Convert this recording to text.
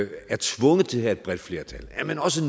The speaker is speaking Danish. er tvunget til at have et bredt flertal er den også